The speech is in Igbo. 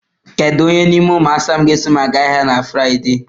Kedu onye n'ime ụmụ asa m ga-eso m aga ahịa na Frịde?